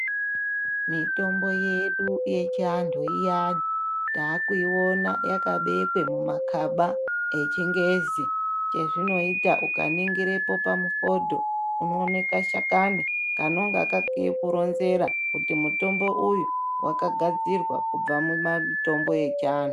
Mitombo yedu yechianthu iya taakuiona yakabekwe mumakaba echingezi ezvinoita ukaningirapo pamukoto u oona kashakani kanonga kakaronzera kuti mutombo uyu wakagadzirwa kubva mumatombo echianthu.